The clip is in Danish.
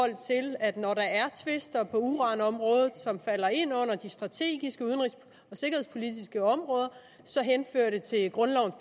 at når der er tvister på uranområdet som falder ind under de strategiske udenrigs og sikkerhedspolitiske områder så henfører det til grundlovens